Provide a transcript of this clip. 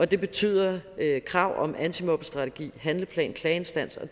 det betyder krav om antimobbestrategi handleplan klageinstans og